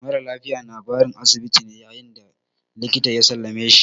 Mara lafiya na barin asibiti ne yayin da likita ya sallame shi.